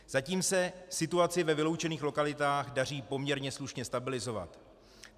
Zatím se situaci ve vyloučených lokalitách daří poměrně slušně stabilizovat.